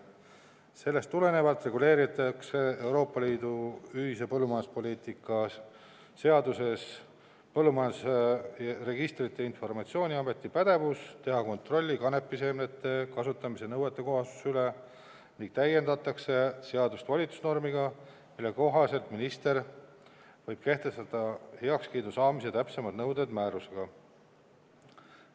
Sellest tulenevalt reguleeritakse Euroopa Liidu ühise põllumajanduspoliitika rakendamise seaduses Põllumajanduse Registrite ja Informatsiooni Ameti pädevus teha kontrolli kanepiseemnete kasutamise nõuetekohasuse üle ning täiendatakse seadust volitusnormiga, mille kohaselt minister võib kehtestada heakskiidu saamise täpsemad nõuded määrusega.